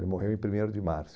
Ele morreu em primeiro de março.